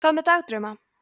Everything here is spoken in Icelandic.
hvað með dagdrauma